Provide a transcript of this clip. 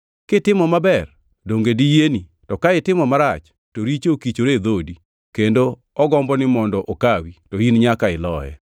Kitimo maber donge diyieni? To ka itimo marach to richo okichore e dhoodi, kendo ogomboni mondo okawi, to in nyaka iloye.”